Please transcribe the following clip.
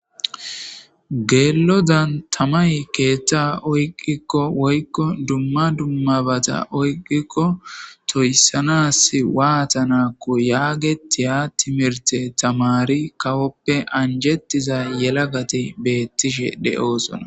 Geelo dan tamay keetta oyqikko woykko dumma dummabata oyqikko toyssanas waata nakko yaagetiya timirte tamari kawoppe anjettiza yela gati beettishe de'oosona